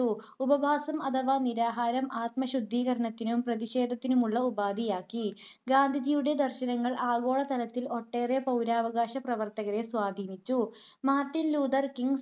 ഉപവാസം അഥവാ നിരാഹാരം ആത്മശുദ്ധീകരണത്തിനും പ്രതിഷേധത്തിനുമുള്ള ഉപാധിയാക്കി. ഗാന്ധിജിയുടെ ദർശനങ്ങൾ ആഗോള തലത്തിൽ ഒട്ടേറെ പൗരാവകാശ പ്രവർത്തകരെ സ്വാധീനിച്ചു. Martin Luther King,